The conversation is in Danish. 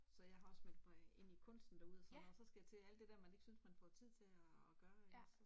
Så jeg har også meldt mig i Kunsten derude og sådan noget og så skal jeg til alt det der man ikke synes man får tid til at gøre ikke også